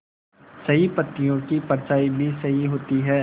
सही पत्तियों की परछाईं भी सही होती है